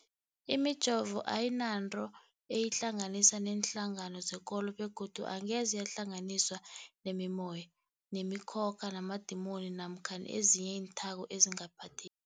Imijovo ayinanto eyihlanganisa neenhlangano zekolo begodu angeze yahlanganiswa nemimoya, nemi khokha, namadimoni namkha ezinye iinthako ezingaphathe